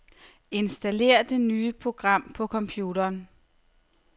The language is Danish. Installér det nye program på computeren.